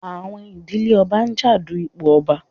Àwọn ìdílé ọba ń jà du ipò ọba.